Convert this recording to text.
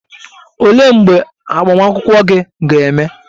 Olee mgbe agbamakwụkwọ gị ga-eme?